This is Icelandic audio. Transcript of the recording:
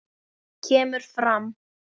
kemur fram